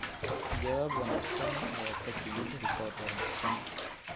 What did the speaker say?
Jawaab wanaagsan ayaa ka timid rikoor wanaagsan.